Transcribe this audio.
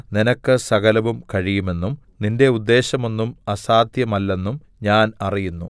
നിനക്ക് സകലവും കഴിയുമെന്നും നിന്റെ ഉദ്ദേശ്യമൊന്നും അസാദ്ധ്യമല്ലെന്നും ഞാൻ അറിയുന്നു